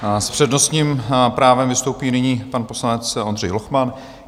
S přednostním právem vystoupí nyní pan poslanec Ondřej Lochman.